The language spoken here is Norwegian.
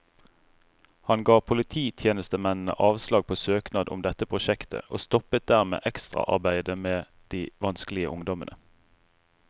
Han ga polititjenestemennene avslag på søknad om dette prosjektet, og stoppet dermed ekstraarbeidet med de vanskelige ungdommene.